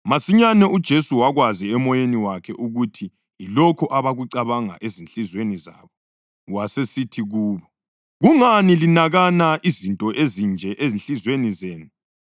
Masinyane uJesu wakwazi emoyeni wakhe ukuthi yilokho ababekucabanga ezinhliziyweni zabo, wasesithi kubo, “Kungani linakana izinto ezinje ezinhliziyweni zenu?